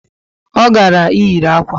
O gara iyiri akwa